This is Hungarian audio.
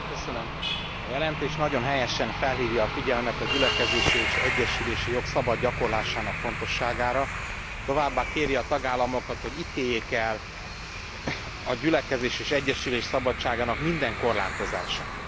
Elnök Asszony, a jelentés nagyon helyesen felhívja a figyelmet a gyülekezési és egyesülési jog szabad gyakorlásának fontosságára, továbbá kéri a tagállamokat, hogy ítéljék el a gyülekezés és egyesülés szabadságának minden korlátozását.